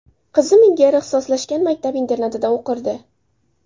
Qizim ilgari ixtisoslashgan maktab-internatida o‘qirdi.